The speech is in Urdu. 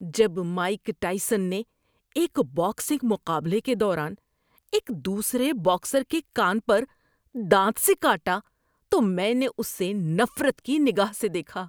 جب مائیک ٹائسن نے ایک باکسنگ مقابلے کے دوران ایک دوسرے باکسر کے کان پر دانت سے کاٹا تو میں نے اسے نفرت کی نگاہ سے دیکھا۔